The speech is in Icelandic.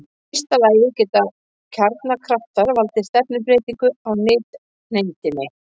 Í fyrsta lagi geta kjarnakraftar valdið stefnubreytingu á nifteindinni.